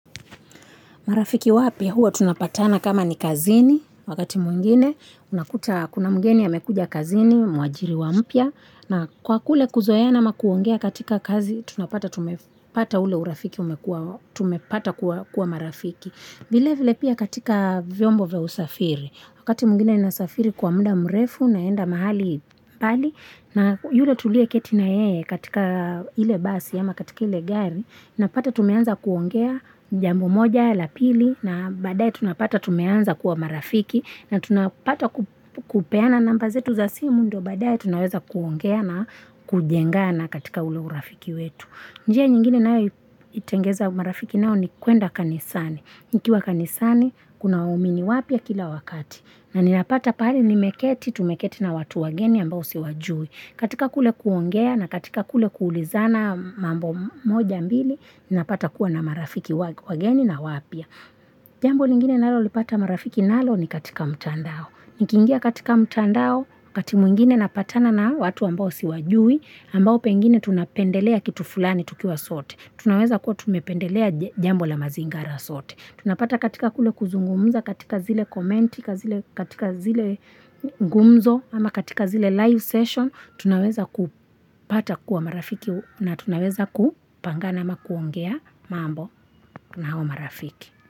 Marafiki wapya huo tunapatana kama ni kazini wakati mwingine unakuta kuna mgeni amekuja kazini mwajiri mpya na kwakule kuzoeana na kuongea katika kazi tunapata tumepata ule urafiki umekua tumepata kuwa marafiki vilevile pia katika vyombo vya usafiri wakati mwingine nasafiri kwa muda mrefu naenda mahali mbali na yule tulie keti nayeye katika ile basi ama katika ile gari napata tumeanza kuongea jambo moja la pili na badae tunapata tumeanza kuwa marafiki na tunapata kupeana namba zetu za simu ndo badae tunawaza kuongea na kujengana katika ule urafiki wetu njia nyingine nao itengeza marafiki nao ni kuenda kanisani nikiwa kanisani kuna waumini wapya kila wakati na ninapata pali nimeketi tumeketi na watu wageni ambao siwajui katika kule kuongea na katika kule kuulizana mambo moja ambili ninapata kuwa na marafiki wageni na wapya jambo lingine naalo lipata marafiki nalo ni katika mtandao nikingia katika mtandao wakatimwingine napatana na watu ambao siwajui ambao pengine tunapendelea kitu fulani tukiwa sote tunaweza kuwa tumependelea jambo la mazingara sote tunapata katika kule kuzungumuza katika zile komenti katika zile gumzo ama katika zile live session tunaweza kupata kuwa marafiki na tunaweza kupangana ama kuongea mambo na hawa marafiki.